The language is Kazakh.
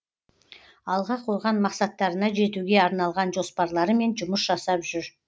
алға қойған мақсаттарына жетуге арналған жоспарларымен жұмыс жасап жүр